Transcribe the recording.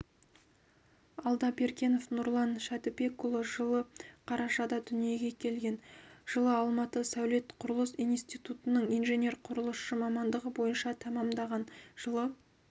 алдабергенов нұрлан шәдібекұлы жылы қарашада дүниеге келген жылы алматы сәулет-құрылыс институтын инженер-құрылысшы мамандығы бойынша тәмамдаған жылы